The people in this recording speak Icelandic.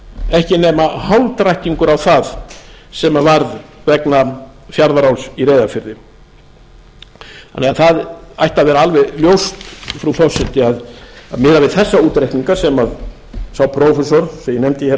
ekki nema hálfdrættingur á við það sem varð vegna fjarðaál í reyðarfirði þannig að það ætti að vera alveg ljóst frú forseti að miðað við þessa útreikninga sem sá prófessor sem ég nefndi